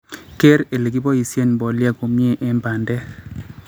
keer ile keboisien mbolea komie en bandek